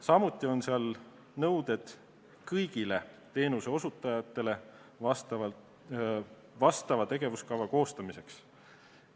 Samuti on seal nõuded kõigile teenuseosutajatele vastava tegevuskava koostamiseks.